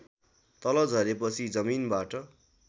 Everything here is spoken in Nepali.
तल झरेपछि जमिनबाट